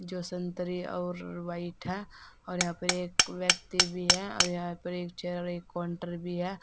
जो संतरे और व्हाइट है और यहां पर एक व्यक्ति भी है और यहां पर एक चेयर और एक काउंटर भी है।